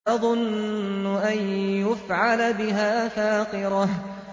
تَظُنُّ أَن يُفْعَلَ بِهَا فَاقِرَةٌ